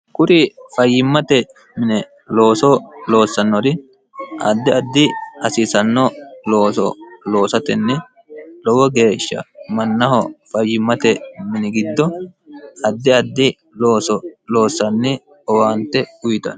kuri fayyimmate mine looso loossannori addi addi hasiisanno looso loosatenni lowo geeshsha mannaho fayyimmate mini giddo addi addi looso loossanni owaante uyitano